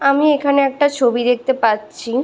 আমি এখানে একটা ছবি দেখতে পাচ্ছি।